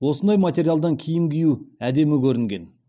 осындай материалдардан киім кию әдемі көрінген